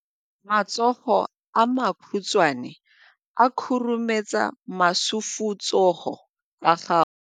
Matsogo a makhutshwane a khurumetsa masufutsogo a gago.